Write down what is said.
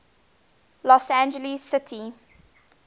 los angeles city